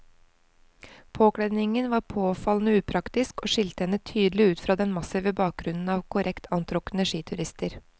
Påkledningen var påfallende upraktisk og skilte henne tydelig ut fra den massive bakgrunnen av korrekt antrukne skiturister.